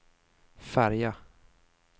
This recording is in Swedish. färja